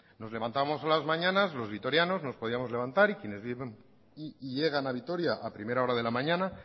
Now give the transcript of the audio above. nos levantamos a las mañanas los vitorianos nos podíamos levantar y quienes llegan a vitoria a primera hora de la mañana